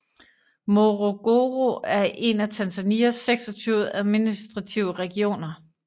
Morogoro er en af Tanzanias 26 administrative regioner